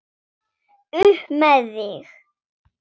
Upp með þig!